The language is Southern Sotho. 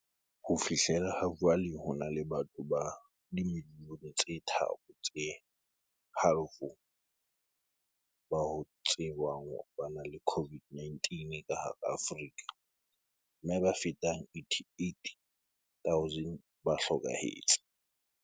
Ho fihlela hajwale, ho na le batho ba dimiliyone tse tharo le halofo ba ho tsejwang hore ba na le COVID-19 ka hara Afrika, mme ba fetang 88 000 ba hlokahetse.